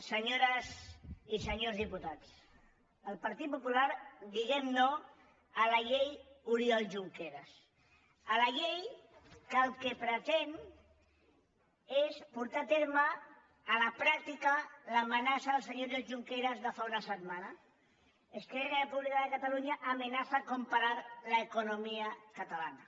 senyores i senyors diputats el partit popular diem no a la llei oriol junqueras a la llei que el que pretén és portar a terme a la pràctica l’amenaça del senyor oriol junqueras de fa una setmana esquerra republicana de catalunya amenaza con parar la economía catalana